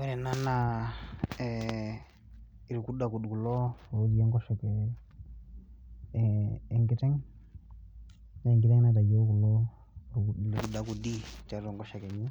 Ore ena naa ee iludakud kulo otii enkoshoke ee enkiteng', naa enkiteng' naitayio kulo kudakudi tiatua enkoshoke enye,